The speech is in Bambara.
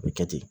A bɛ kɛ ten